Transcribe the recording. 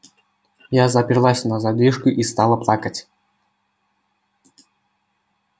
я заперлась на задвижку и стала плакать